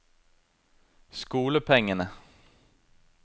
skolepengene